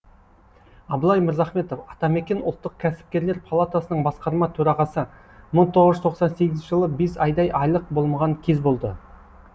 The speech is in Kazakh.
абылай мырзахметов атамекен ұлттық кәсіпкерлер палатасының басқарма төрағасы мың тоғыз жүз тоқсан сегізінші жылы бес айдай айлық болмаған кез болды